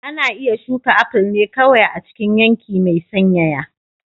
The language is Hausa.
Ana iya shuka aful ne kawai a cikin yanki mai sanyaya.